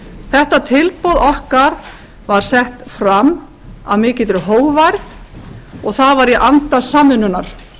þetta tilboð okkar var sett fram af mikilli hógværð og það var í anda samvinnunnar